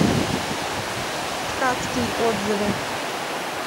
ткацкий отзывы